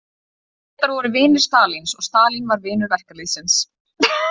Bretar voru vinir Stalíns og Stalín var vinur verkalýðsins.